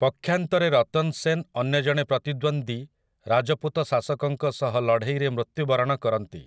ପକ୍ଷାନ୍ତରେ ରତନ୍ ସେନ୍ ଅନ୍ୟ ଜଣେ ପ୍ରତିଦ୍ୱନ୍ଦ୍ୱୀ ରାଜପୁତ ଶାସକଙ୍କ ସହ ଲଢ଼େଇରେ ମୃତ୍ୟୁବରଣ କରନ୍ତି ।